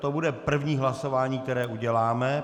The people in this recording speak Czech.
To bude první hlasování, které uděláme.